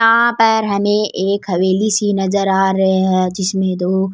यहाँ पर हमे एक हवेली सी नजर आ रे है जिसमे दो --